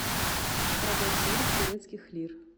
продать сорок турецких лир